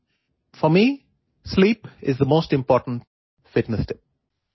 গতিকে টোপনি মোৰ বাবে আটাইতকৈ গুৰুত্বপূৰ্ণ ফিটনেছ টিপছ